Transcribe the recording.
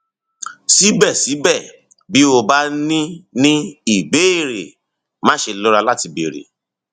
síbẹsíbẹ bí o bá ní ní ìbéèrè máṣe lọra láti béèrè